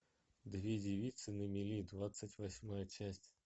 две девицы на мели двадцать восьмая часть